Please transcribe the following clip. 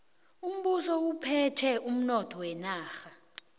umbuso uphethe umnotho wenarha